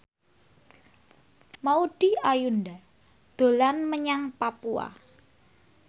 Maudy Ayunda dolan menyang Papua